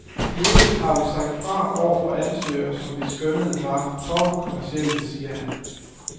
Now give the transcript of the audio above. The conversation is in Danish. I øvrigt har vi sagt fra over for ansøgere, som vi skønnede var for kommercielle, siger han.